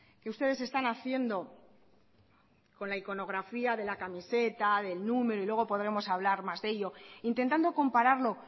que ustedes están haciendo con la iconografía de la camiseta del número y luego podremos hablar más de ello intentando compararlo